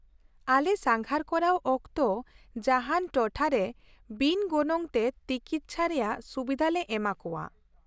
-ᱟᱞᱮ ᱥᱟᱸᱜᱷᱟᱨ ᱠᱚᱨᱟᱣ ᱚᱠᱛᱚ ᱡᱟᱦᱟᱱ ᱴᱚᱴᱷᱟᱨᱮ ᱵᱤᱱ ᱜᱚᱱᱚᱝ ᱛᱮ ᱛᱤᱠᱤᱪᱪᱷᱟ ᱨᱮᱭᱟᱜ ᱥᱩᱵᱤᱫᱷᱟ ᱞᱮ ᱮᱢᱟ ᱠᱟᱣᱟ ᱾